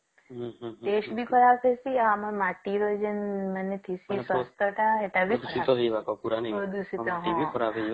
ହୁଁ ହୁଁ test ବି ଖରାପ ହଉଛି ଆଉ ମାଟି ବି ସ୍ବାସ୍ଥ୍ୟ ଟା